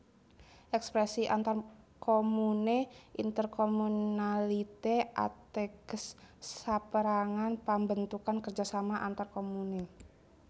Èkspresi antarkomune intercommunalité ateges sapérangan pambentukan kerjasama antar komune